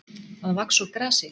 Að vaxa úr grasi